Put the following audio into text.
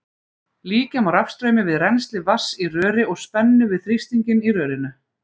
Líkja má rafstraumi við rennsli vatns í röri og spennu við þrýstinginn í rörinu.